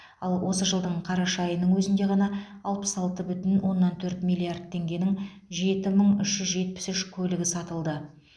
ал осы жылдың қараша айының өзінде ғана алпыс алты бүтін оннан төрт миллиард теңгенің жеті мың үш жүз жетпіс үш көлігі сатылды